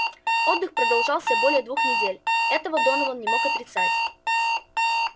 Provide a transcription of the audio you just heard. отдых продолжался более двух недель этого донован не мог отрицать